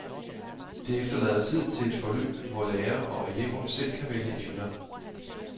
Det efterlader tid til et forløb, hvor lærer og elever selv kan vælge emner.